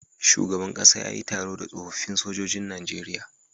Shugaban ƙasa yayi taro da tsofafin sojojin nageria